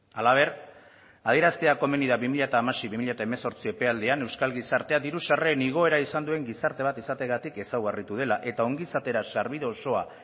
halaber adieraztea komeni da bi mila hamasei bi mila hemezortzi epealdian euskal gizartea diru sarreren igoera izan duen gizarte bat izateagatik ezaugarritu dela eta ongizatera sarbide osoa